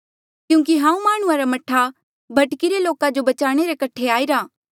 क्यूंकि हांऊँ माह्णुंआं रा मह्ठा भटकिरे लोका जो बचाणे रे कठे आईरा